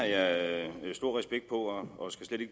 at